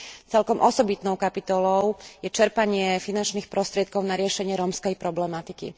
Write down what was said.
Celkom osobitnou kapitolou je čerpanie finančných prostriedkov na riešenie rómskej problematiky.